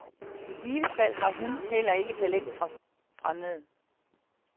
I givet fald har hun heller ikke talentet fra fremmede.